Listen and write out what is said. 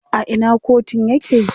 A ina kotun yake?